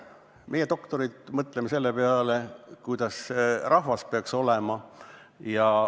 Meie, doktorid, mõtleme selle peale, kuidas rahval peaks olema.